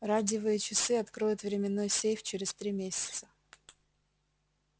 радиевые часы откроют временной сейф через три месяца